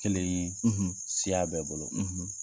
Kelen ye, , siya bɛɛ bolo,